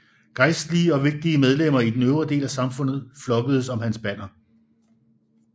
Gejstlige og vigtige medlemmer i den øvre del af samfundet flokkedes om hans banner